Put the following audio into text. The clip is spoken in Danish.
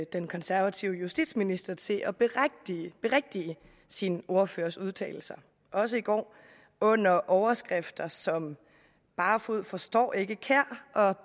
den konservative justitsminister til at berigtige sin ordførers udtalelser også i går under overskrifter som barfoed forstår ikke kjær og